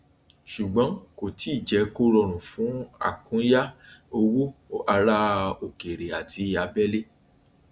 ṣùgbọn kò tíì jẹ kó rọrùn fun àkúnya owó àrà òkèèrè àti abẹlé